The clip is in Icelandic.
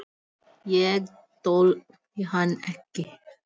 Ég þoldi hann ekki.